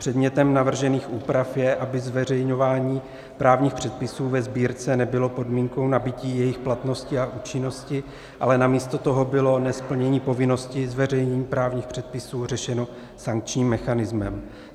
Předmětem navržených úprav je, aby zveřejňování právních předpisů ve sbírce nebylo podmínkou nabytí jejich platnosti a účinnosti, ale namísto toho bylo nesplnění povinnosti zveřejnění právních předpisů řešeno sankčním mechanismem.